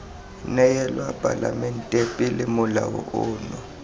neelwa palamente pele molao ono